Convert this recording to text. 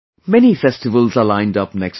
Many festivals are lined up next month